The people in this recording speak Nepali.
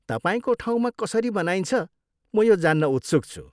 तपाईँको ठाउँमा कसरी मनाइन्छ म यो जान्न उत्सुक छु।